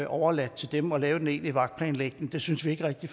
overladt til dem at lave den egentlige vagtplanlægning det synes vi ikke rigtig